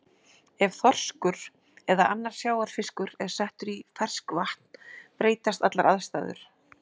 Ef þorskur eða annar sjávarfiskur er settur í ferskvatn breytast allar aðstæður.